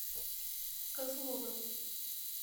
козловым